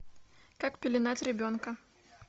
как пеленать ребенка